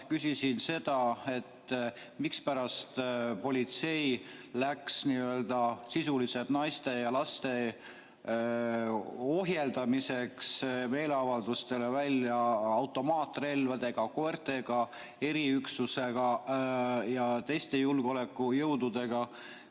Küsisin, mispärast läks politsei meeleavaldustele sisuliselt ainult naiste ja laste ohjeldamiseks välja automaatrelvade, koerte, eriüksuse ja teiste julgeolekujõududega.